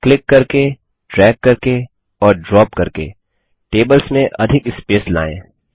click करके drag करके और ड्रॉप करके टेबल्स में अधिक स्पेस लायें